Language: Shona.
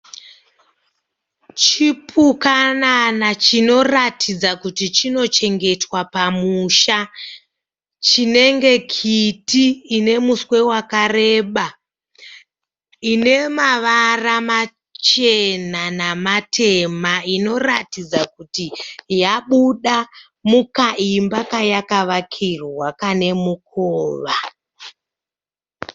Chipukanana chinoratidza kuti chinochengetwa pamusha. Chinenge kiti ine muswe wakareba. Ine mavara machena namatema. Inoratidza kuti yabuda mukaimba kayakavakirwa kane mukova.